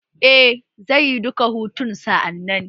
Eh zaiyi duka hutun sa a nan